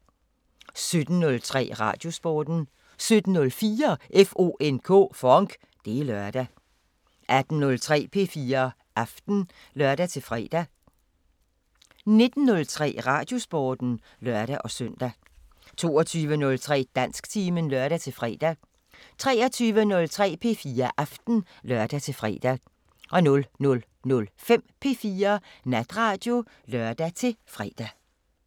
17:03: Radiosporten 17:04: FONK! Det er lørdag 18:03: P4 Aften (lør-fre) 19:03: Radiosporten (lør-søn) 19:05: P4 Aften (lør-søn) 22:03: Dansktimen (lør-fre) 23:03: P4 Aften (lør-fre) 00:05: P4 Natradio (lør-fre)